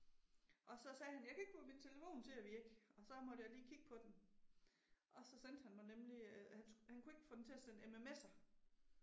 Og så sagde han jeg kan ikke få min telefon til at virke, gg så måtte jeg lige kigge på den. Og så sendte han mig nemlig, øh han han kunne ikke få den til at sende MMS'er